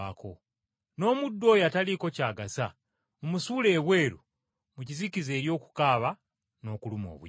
N’omuddu oyo ataliiko ky’agasa mumusuule ebweru mu kizikiza eri okukaaba n’okuluma obujiji.’